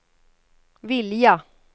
vilja